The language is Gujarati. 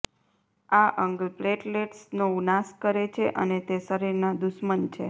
આ અંગ પ્લેટલેટ્સનો નાશ કરે છે અને તે શરીરના દુશ્મન છે